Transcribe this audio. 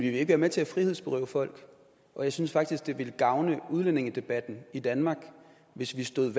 ikke være med til at frihedsberøve folk jeg synes faktisk det ville gavne udlændingedebatten i danmark hvis vi stod